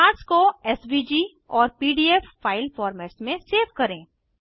charts को SVG और PDF file formats में सेव करें